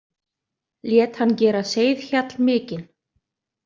Lét hann gera seiðhjall mikinn.